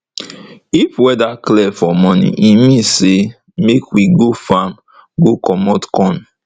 if weather clear for morning e mean say make we go farm go commot corn